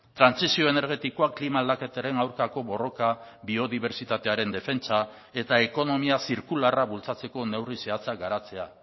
trantsizio energetikoa klima aldaketaren aurkako borroka biodibertsitatearen defentsa eta ekonomia zirkularra bultzatzeko neurri zehatzak garatzea